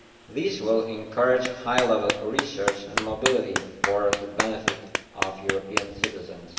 This will encourage high level research and mobility for the benefit of European citizens.